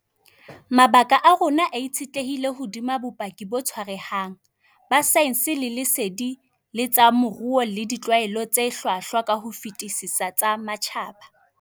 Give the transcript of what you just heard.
Mabaka a rona a itshetlehile hodima bopaki bo tshwarehang, ba saense le lesedi la tsa moruo le ditlwaelo tse hlwahlwa ka ho fetisisa tsa matjhaba.